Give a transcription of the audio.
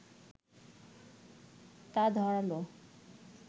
তাই ধারালো